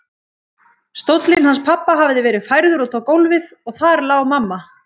Stóllinn hans pabba hafði verið færður út á gólfið og þar lá mamma.